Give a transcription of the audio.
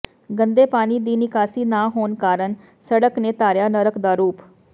ਗੰਦੇ ਪਾਣੀ ਦੀ ਨਿਕਾਸੀ ਨਾ ਹੋਣ ਕਾਰਨ ਸੜਕ ਨੇ ਧਾਰਿਆ ਨਰਕ ਦਾ ਰੂਪ